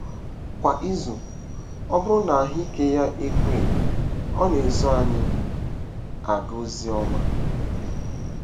Kwa izu, ọ bụrụ na ahụ́ ike ya ekwe, ọ na-eso anyị aga ozi ọma.